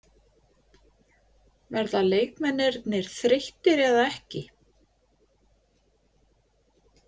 Verða leikmennirnir þreyttir eða ekki?